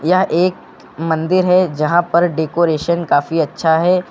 यह एक मंदिर है जहां पर डेकोरेशन काफी अच्छा है।